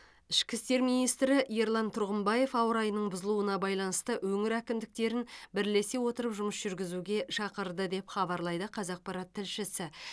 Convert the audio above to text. ішкі істер министрі ерлан тұрғымбаев ауа райының бұзылуына байланысты өңір әкімдіктерін бірлесе отырып жұмыс жүргізуге шақырды деп хабарлайды қазақпарат тілшісі